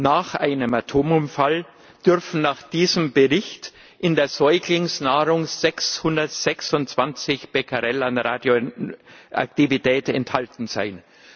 Nach einem Atomunfall dürfen nach diesem Bericht in der Säuglingsnahrung 626 Becquerel an Radioaktivität enthalten sein.